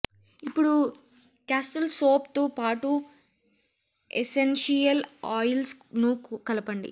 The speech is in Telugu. ఇప్పుడు క్యాస్టిల్ సోప్ తో పాటు ఎసెన్షియల్ ఆయిల్స్ ను కలపండి